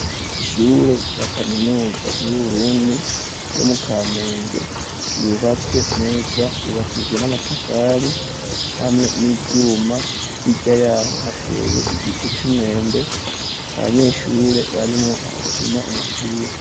Ishure ya kaminuza y'uburundi, ryo mukamenge ,yubatswe neza yubakishijwe n'amatafari ,hamwe n'ivyuma, h'irya yaho hateye igiti c'umwembe, abanyeshure barimwo barakina umupira.